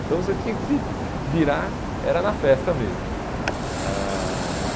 Então você tinha que se virar, era na festa mesmo. Ãh